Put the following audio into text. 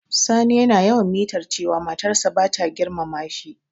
Sani yana yawan mitar cewa matar sa bata girmama shi.